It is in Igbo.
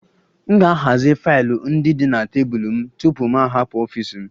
M ga-ahazi faịlụ ndị dị na tebụl m tupu m hapụ ọfịs m